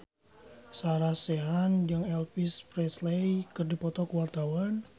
Sarah Sechan jeung Elvis Presley keur dipoto ku wartawan